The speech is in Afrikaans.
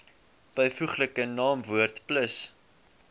byvoeglike naamwoord plus